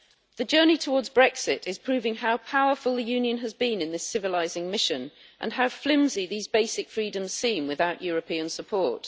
The journey towards Brexit is proving how powerful the Union has been in this civilising mission and how flimsy these basic freedoms seem without European support.